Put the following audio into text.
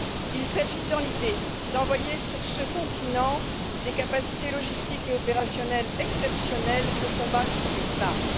Il s'agit dans l'idée d'envoyer sur ce continent des capacités logistiques et opérationnelles exceptionnelles pour combattre les flammes.